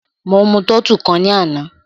Mo mú tọ́tù kan ní àná.